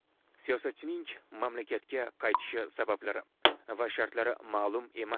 Siyosatchining mamlakatga qaytishi sabablari va shartlari ma’lum emas.